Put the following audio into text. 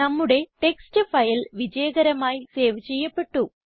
നമ്മുടെ text file വിജയകരമായി save ചെയ്യപ്പെട്ടു